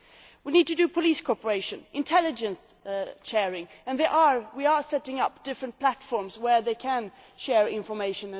We need to create police cooperation, intelligence sharing and in fact we are setting up different platforms where they can share information.